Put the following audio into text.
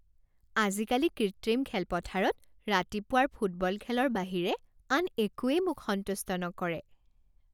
আজিকালি কৃত্ৰিম খেলপথাৰত ৰাতিপুৱাৰ ফুটবল খেলৰ বাহিৰে আন একোৱেই মোক সন্তুষ্ট নকৰে।